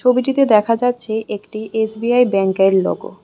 ছবিটিতে দেখা যাচ্ছে একটি এস_বি_আই ব্যাংকের লোগো ।